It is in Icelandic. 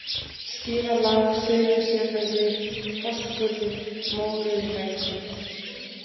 Skíðalág, Syðri-Selhöfði, Fossskurður, Mórauðilækur